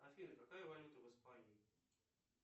афина какая валюта в испании